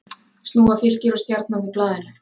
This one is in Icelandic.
Snúa Fylkir og Stjarnan við blaðinu